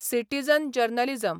Citizen journalism.